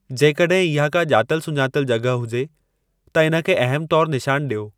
जेकॾहिं इहा का ॼातलु सुञातलु जॻहि हुजे त इन खे अहमु तौर निशानु ॾियो